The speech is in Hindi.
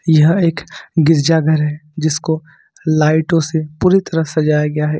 यह एक गिरजा घर है जिसको लाइटों से पूरी तरह सजाया गया है।